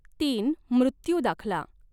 तीन मृत्यू दाखला